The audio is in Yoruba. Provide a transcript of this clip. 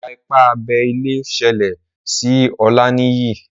Iwa-ipa abé ilé ṣẹlẹ sí Olaniyi